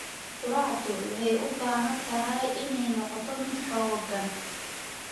Quraacdu waxay u baahan tahay inay noqoto mid xooggan.